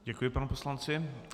Děkuji panu poslanci.